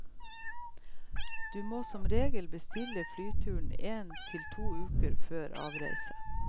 Du må som regel bestille flyturen en til to uker før avreise.